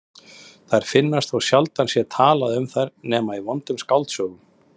Þær finnast þótt sjaldan sé talað um þær nema í vondum skáldsögum.